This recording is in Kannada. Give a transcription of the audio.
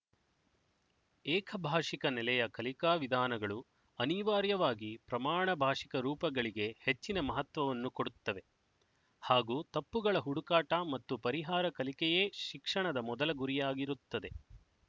ಏಕಭಾಶಿಕ ನೆಲೆಯ ಕಲಿಕಾ ವಿಧಾನಗಳು ಅನಿವಾರ್ಯವಾಗಿ ಪ್ರಮಾಣ ಭಾಶಿಕ ರೂಪಗಳಿಗೆ ಹೆಚ್ಚಿನ ಮಹತ್ವವನ್ನು ಕೊಡುತ್ತವೆ ಹಾಗೂ ತಪ್ಪುಗಳ ಹುಡುಕಾಟ ಮತ್ತು ಪರಿಹಾರ ಕಲಿಕೆಯೇ ಶಿಕ್ಷಣದ ಮೊದಲ ಗುರಿಯಾಗಿರುತ್ತದೆ